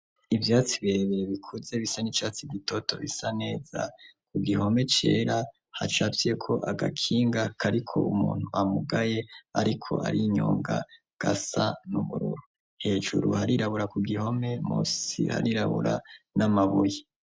Ivyatsi birebire bikuze bisa n'icatsi gitoto bisa neza, ku gihome cera hacafyeko agakinga kariko umuntu amugaye, ariko arinyonga, gasa n'ubururu. Hejuru harirabura ku gihome musi harirabura n'amabuye.